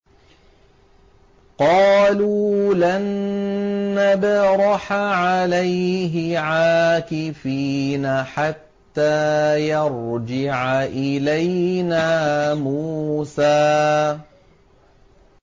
قَالُوا لَن نَّبْرَحَ عَلَيْهِ عَاكِفِينَ حَتَّىٰ يَرْجِعَ إِلَيْنَا مُوسَىٰ